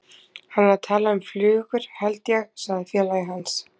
Hann er að tala um flugur, held ég sagði félagi hans.